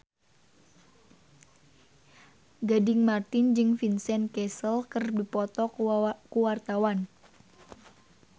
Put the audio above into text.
Gading Marten jeung Vincent Cassel keur dipoto ku wartawan